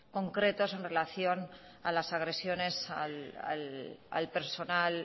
concretos en relación a las agresiones al personal